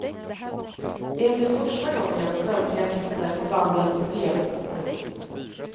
Det är inte första gången svenska artister förvandlas till brevporton.